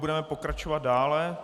Budeme pokračovat dále.